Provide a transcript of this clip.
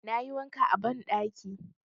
Na yi wanka a banɗaki.